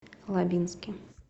лабинске